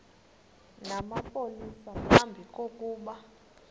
namapolisa phambi kokuba